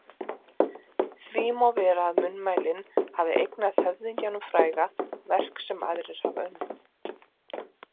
Því má vera að munnmælin hafi eignað höfðingjanum fræga verk sem aðrir hafa unnið.